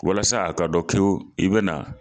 Walasa a ka dɔn kiwo k'i i be na